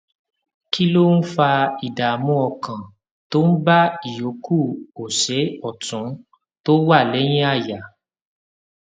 kí ló ń fa ìdààmú ọkàn tó ń bá ìyókù ọsè òtún tó wà léyìn àyà